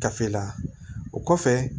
Kafe la o kɔfɛ